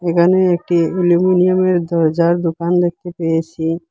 এখানে একটি অ্যালুমিনিয়ামের দরজার দুকান দেখতে পেয়েসি।